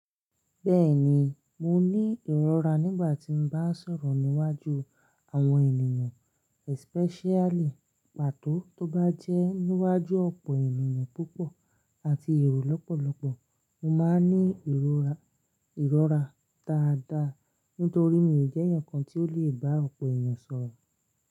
Bẹ́ẹ̀ni, mo ní ìrora nígbà tí n bá ń sọ̀rọ̀ níwájú àwọn ènìyàn especially pàtó tó bá jẹ́ níwájú ọ̀pọ̀ ènìyàn púpọ̀ àti èrò lọ́pọ̀lọ́pọ̀. Mo máa ń ní ìrora, ìrora dáadáa nítorí mi ò jẹ́ ẹnìkan tí ó lè bá ọ̀pọ̀ ènìyàn sọ̀rọ̀.